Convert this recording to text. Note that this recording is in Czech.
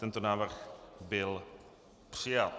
Tento návrh byl přijat.